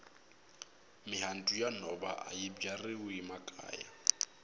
mihandzu ya nhova ayi byariwi makaya